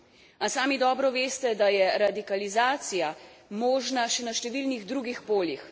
A sami dobro veste, da je radikalizacija možna še na številnih drugih poljih.